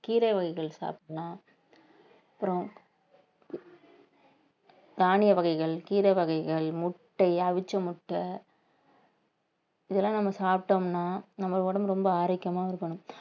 கீரை வகைகள் சாப்பிடலாம் அப்புறம் தானிய வகைகள் கீரை வகைகள் முட்டை அவிச்ச முட்ட இதெல்லாம் நம்ம சாப்பிட்டோம்னா நம்ம உடம்பு ரொம்ப ஆரோக்கியமாவும் இருக்கணும்